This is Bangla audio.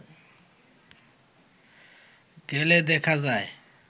গেলে দেখা যায়